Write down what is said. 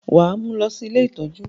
wà á mú lọ sí “ ilé ìtọ́jú”.!